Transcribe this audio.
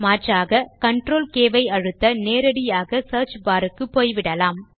மாற்றாக CTRLK ஐ அழுத்த நேரடியாக சியர்ச் பார் க்கு போய் விடலாம்